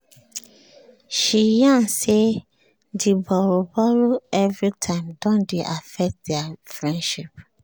she yarn say the borrow-borrow every time don dey affect their friendship